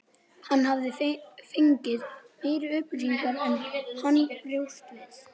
Hann hafði fengið meiri upplýsingar en hann bjóst við.